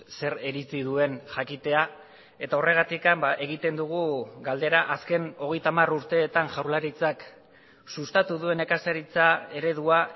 zer iritzi duen jakitea eta horregatik egiten dugu galdera azken hogeita hamar urteetan jaurlaritzak sustatu duen nekazaritza eredua